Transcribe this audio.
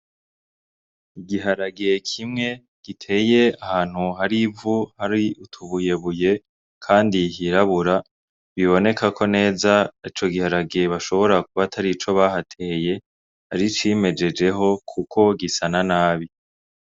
Igiharage kimwe giteye ahantu hari ivu, hari utubuyebuye kandi hirabura. Biboneka neza ko ico giharage gishobora kuba atari ico bahateye, ari icimejejeho kuko gisa na nabi.